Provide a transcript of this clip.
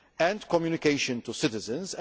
and communication to citizens.